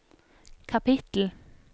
kapittel